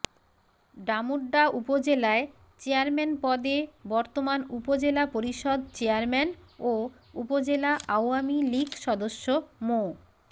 ডামুড্যা উপজেলায় চেয়ারম্যান পদে বর্তমান উপজেলা পরিষদ চেয়ারম্যান ও উপজেলা আওয়ামী লীগ সদস্য মো